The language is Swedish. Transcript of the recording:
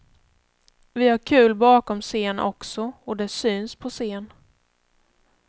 Vi har kul bakom scen också och det syns på scen.